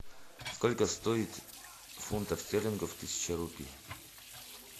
сколько стоит фунтов стерлингов тысяча рупий